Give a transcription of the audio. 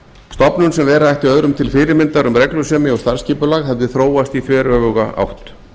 stofnun sem vera ætti öðrum til fyrirmyndar um reglusemi og starfsskipulag hefði þróast í þveröfuga átt